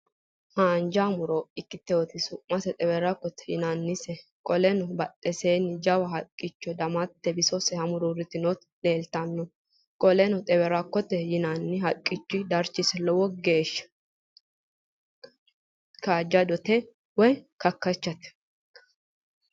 Haanja mu'ro ikkite su'mase xewerrakote yinannise. Qoleno badheeseenni jawa haqqichote damatte bisose hamuruurritinoti leeltanno. Qoleno, xewerrakkote yinanni haqqicho darchose lowo geeshsha kaajjadote woy kakkachate.